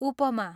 उपमा